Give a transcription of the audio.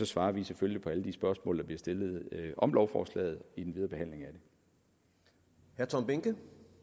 svarer vi selvfølgelig på alle de spørgsmål der bliver stillet om lovforslaget i den videre behandling af det